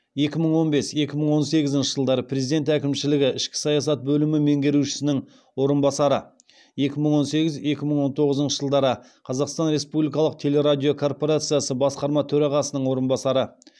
екі мың он бес екі мың он сегізінші жылдары президент әкімшілігі ішкі саясат бөлімі меңгерушісінің орынбасары екі мың он сегіз екі мың он тоғызыншы жылдары қазақстан республикалық телерадиокорпорациясы басқарма төрағасының орынбасары